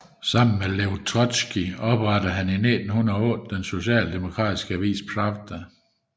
Sammen med Lev Trotskij oprettede han i 1908 den socialdemokratiske avis Pravda